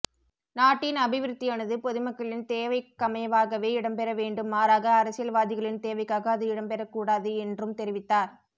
நாட்டின் அபிவிருத்தியானது பொதுமக்களின் தேவைக்கமைவாகவே இடம்பெற வேண்டும் மாறாக அரசியல்வாதிகளின் தேவைக்காக அது இடம்பெறக்கூடாது என்றும் தெரிவித்தார்